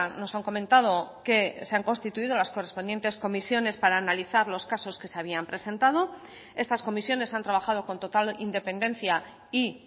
nos han comentado que se han constituido las correspondientes comisiones para analizar los casos que se habían presentado estas comisiones han trabajado con total independencia y